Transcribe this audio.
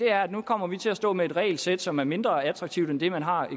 er at nu kommer vi til at stå med et regelsæt som er mindre attraktivt end det man har